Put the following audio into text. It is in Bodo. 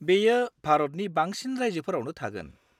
बेयो भारतनि बांसिन रायजोफोरावनो थागोन।